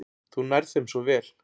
Þú nærð þeim svo vel.